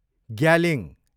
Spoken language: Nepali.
ग्यालिङ